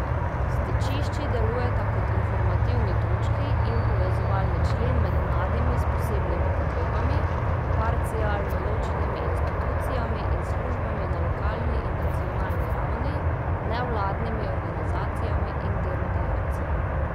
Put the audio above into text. Stičišči delujeta kot informativni točki in povezovalni člen med mladimi s posebnimi potrebami, parcialno ločenimi institucijami in službami na lokalni in nacionalni ravni, nevladnimi organizacijami in delodajalci.